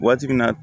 Waati min na